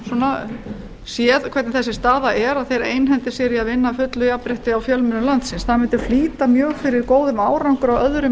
jafnréttissinnar séð hvernig þessi staða er og þeir einhendi sér í að vinna að fullu jafnrétti á fjölmiðlum landsins það mundi flýta mjög fyrir góðum árangri á öðrum